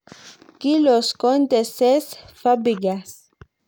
Kilos Conte Cesc Fabigas